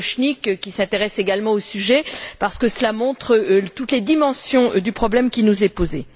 Potočnik, qui s'intéressent également au sujet, parce que cela montre toutes les dimensions du problème qui nous est posé.